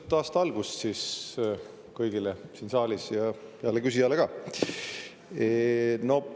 Ilusat aasta algust kõigile siin saalis ja heale küsijale ka!